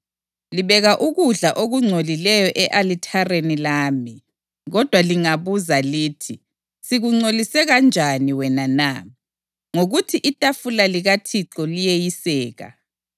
Libeka ukudla okungcolileyo e-alithareni lami. Kodwa lingabuza lithi, ‘Sikungcolise kanjani wena na?’ Ngokuthi itafula likaThixo liyeyiseka.